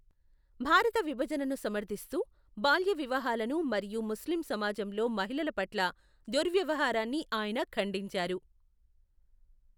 భారత విభజనను సమర్థిస్తూ, బాల్య వివాహాలను మరియు ముస్లిం సమాజంలో మహిళల పట్ల దుర్వ్యవహారాన్నీ ఆయన ఖండించారు.